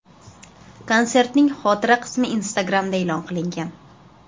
Konsertning xotira qismi Instagram’da e’lon qilingan.